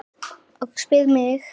Og spyr mig